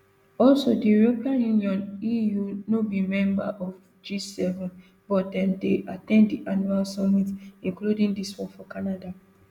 also di european union eu no be member of gseven but dem dey at ten d di annual summit including dis one for canada